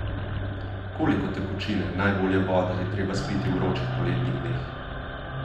Koliko tekočine, najbolje vode, je treba spiti v vročih poletnih dneh?